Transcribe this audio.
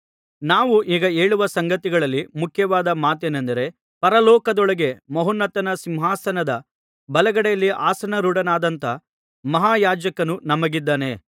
ನಾವು ಈಗ ಹೇಳುವ ಸಂಗತಿಗಳಲ್ಲಿ ಮುಖ್ಯವಾದ ಮಾತೇನೆಂದರೆ ಪರಲೋಕದೊಳಗೆ ಮಹೋನ್ನತನ ಸಿಂಹಾಸನದ ಬಲಗಡೆಯಲ್ಲಿ ಆಸನಾರೂಢನಾದಂಥ ಮಹಾಯಾಜಕನು ನಮಗಿದ್ದಾನೆ